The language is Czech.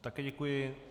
Také děkuji.